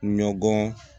Ɲɔgɔn